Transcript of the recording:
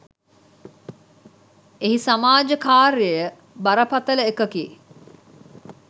එහි සමාජ කාර්යය බරපතල එකකි.